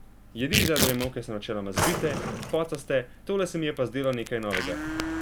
Jedi iz ajdove moke so načeloma zbite, pocaste, tole se mi je pa zdelo nekaj novega.